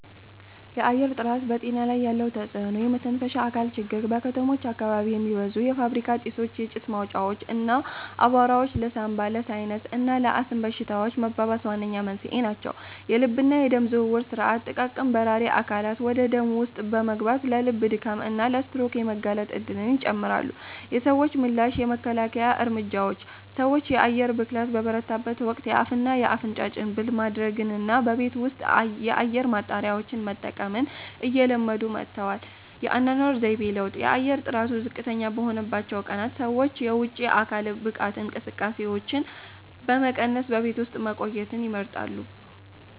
የአየር ጥራት በጤና ላይ ያለው ተጽዕኖ የመተንፈሻ አካላት ችግር:- በከተሞች አካባቢ የሚበዙ የፋብሪካ ጢሶች፣ የጭስ ማውጫዎች እና አቧራዎች ለሳንባ፣ ለሳይነስ እና ለአስም በሽታዎች መባባስ ዋነኛ መንስኤ ናቸው። የልብና የደም ዝውውር ሥርዓት፦ ጥቃቅን በራሪ አካላት ወደ ደም ውስጥ በመግባት ለልብ ድካም እና ለስትሮክ የመጋለጥ እድልን ይጨምራሉ። የሰዎች ምላሽ የመከላከያ እርምጃዎች፦ ሰዎች የአየር ብክለት በበረታበት ወቅት የአፍና አፍንጫ ጭንብል ማድረግንና በቤት ውስጥ የአየር ማጣሪያዎችን መጠቀምን እየለመዱ መጥተዋል። የአኗኗር ዘይቤ ለውጥ፦ የአየር ጥራቱ ዝቅተኛ በሆነባቸው ቀናት ሰዎች የውጪ የአካል ብቃት እንቅስቃሴዎችን በመቀነስ በቤት ውስጥ መቆየትን ይመርጣሉ።